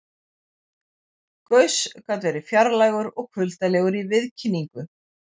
Gauss gat verið fjarlægur og kuldalegur í viðkynningu.